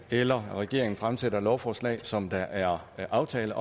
eller regeringen fremsætter et lovforslag som der er en aftale